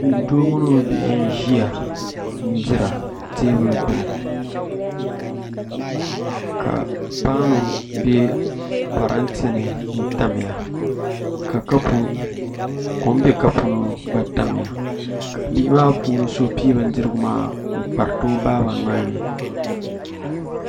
Doo mini o bihi n ʒiya n dira teebuli gbuni ka paanu bɛ parantɛ ni n tamya ka kom bɛ kapu ni gba tamya ka bihi maa puuni so pii bindirigu maa n kpariti o baa nolini